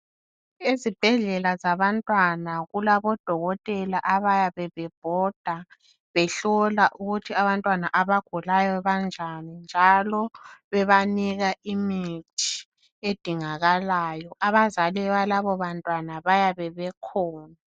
Ezibhedlela zabantwana kulabodokotela abayabe bebhoda behlola ukuthi abantwana abagulayo banjani njalo bebanika imithi edingakalayo. Abazali balabobantwana bayabe bekhona.